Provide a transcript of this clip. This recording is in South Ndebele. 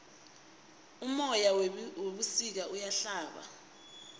umoya webusika uyahlaba